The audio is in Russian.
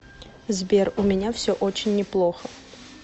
сбер у меня все очень неплохо